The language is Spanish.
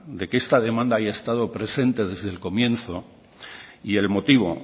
de que esta demanda haya estado presente desde el comienzo y el motivo